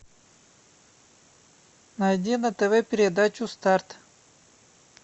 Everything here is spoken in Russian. найди на тв передачу старт